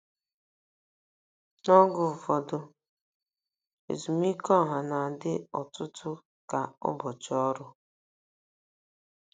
N'oge ụfọdụ, ezumike ọha na-adị ọtụtụ ka ụbọchị ọrụ.